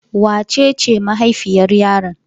Wace ce mahaifiyar yaron?